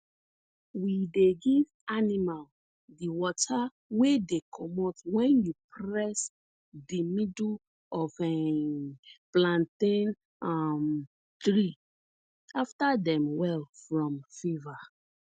we dey give animal di water wey dey comot wen you press di middle of um plantain um tree afta dem well from fever